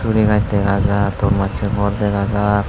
sugurigaz dega jar ton massey gor dega jar.